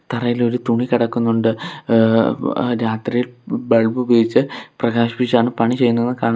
തറയിൽ ഒരു തുണി കടക്കുന്നുണ്ട് ആ രാത്രിയിൽ ബൾബ് ഉപയോഗിച്ച് പ്രകാശിപ്പിച്ചാണ് പണി ചെയ്യുന്നതെന്ന് കാണാം.